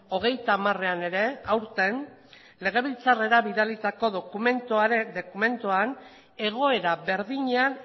hogeita hamarean ere aurten legebiltzarrera bidalitako dokumentuan egoera berdinean